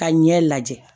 Ka ɲɛ lajɛ